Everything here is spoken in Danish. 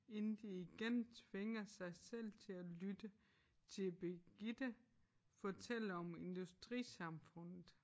Inden de igen tvinger sig selv til at lytte til Birgitte fortælle om industrisamfundet